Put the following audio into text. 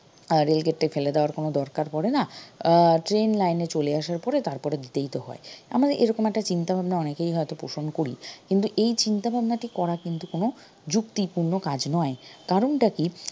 আহ rail gate টা ফেলে দেওয়ার কোনো দরকার পরে না আহ train line এ চলে আসার পরে তারপরে দিলেই তো হয় আমাদের এরকম একটা চিন্তা ভাবনা অনেকেই হয়ত পোষন করি কিন্তু এই চিন্তাভাবনাটা করার কিন্তু কোনো ‍যুক্তিপূর্ন কাজ নয় কারনটা কী